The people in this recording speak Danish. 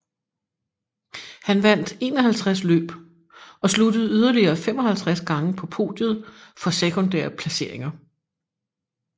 Han vandt 51 løb og sluttede yderligere 55 gange på podiet for sekundære placeringer